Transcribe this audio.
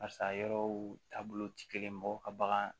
Barisa yɔrɔw taabolo ti kelen ye mɔgɔw ka bagan